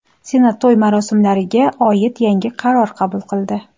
Senat to‘y-marosimlarga oid yangi qaror qabul qildi.